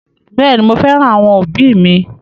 Bẹẹni, mo féràn àwọn òbí mi